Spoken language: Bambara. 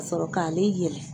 Ka sɔrɔ k'ale yɛlɛ